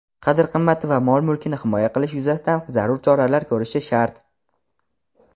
qadr-qimmati va mol-mulkini himoya qilish yuzasidan zarur choralar ko‘rishi shart.